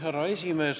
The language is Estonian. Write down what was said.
Härra esimees!